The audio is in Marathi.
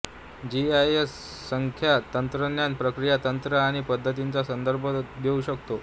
जीआयएस असंख्य तंत्रज्ञान प्रक्रिया तंत्र आणि पद्धतींचा संदर्भ घेऊ शकते